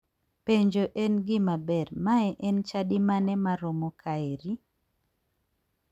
Penjo en gima ber, mae en chadi mane maromo kaeri?